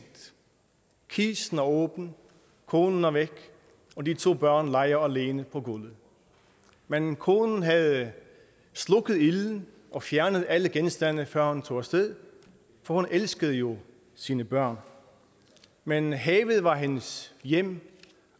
kisten er åben konen er væk og de to børn leger alene på gulvet men konen havde slukket ilden og fjernet alle genstande før hun tog af sted for hun elskede jo sine børn men havet var hendes hjem